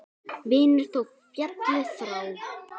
Vinur þó félli frá.